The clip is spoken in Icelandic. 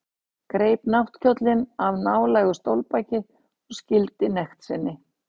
Greip náttkjólinn af nálægu stólbaki og skýldi nekt sinni.